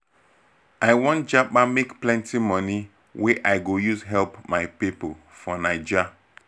for some pipo when dem get ogbonge relationship um with their family and um friends dem dey satisfied